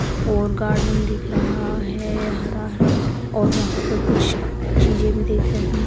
और गार्डन दिख रहा हैं हरा हरा और वहाँ पे कुछ चीज़े भी दिख रही--